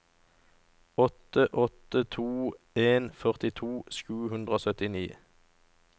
åtte åtte to en førtito sju hundre og syttini